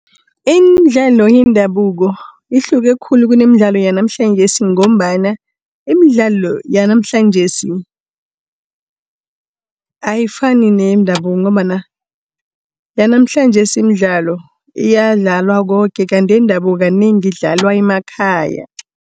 Iimdlalo yendabuko ihluke khulu kunemidlalo yanamhlanjesi ngombana iimdlalo yanamhlanjesi, ayifani neyendabuko ngombana yanamhlanjesi iimdlalo iyadlalwa koke, kanti yendabuko kanengi idlalwa emakhaya.